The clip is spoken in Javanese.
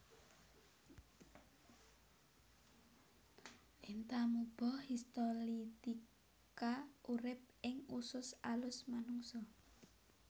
Entamuba histolytica urip ing usus alus manungsa